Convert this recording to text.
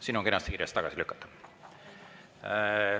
Siin on kenasti kirjas: tagasi lükata.